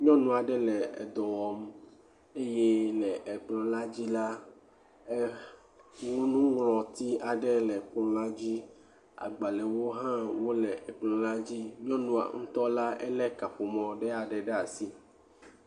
Nyɔnu aɖe le dɔ wɔm eye le kplɔ̃ la dzi la nuŋlɔti aɖe le edzi agbalẽwo hã le kplɔ̃a dzi nyɔnu la ŋutɔ le kaƒomɔ ɖe asi.